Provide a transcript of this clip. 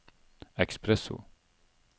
espresso